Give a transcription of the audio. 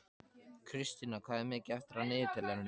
Kristína, hvað er mikið eftir af niðurteljaranum?